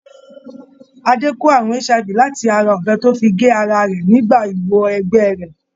Adé kó àrùn HIV láti ara ọ̀bẹ tó fi gé ara rẹ̀ nígbà ìwọ - ẹgbẹ́ rẹ̀.